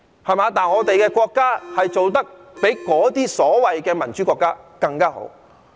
相反，我們的國家做得比那些所謂的民主國家更加好。